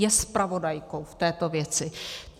Je zpravodajkou v této věci.